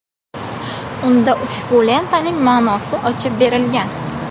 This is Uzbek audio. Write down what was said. Unda ushbu lentaning ma’nosi ochib berilgan.